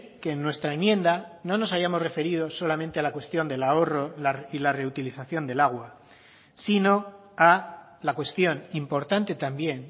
que en nuestra enmienda no nos hayamos referido solamente a la cuestión del ahorro y la reutilización del agua sino a la cuestión importante también